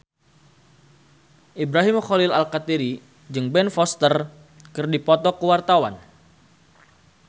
Ibrahim Khalil Alkatiri jeung Ben Foster keur dipoto ku wartawan